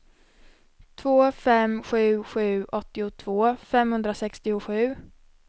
två fem sju sju åttiotvå femhundrasextiosju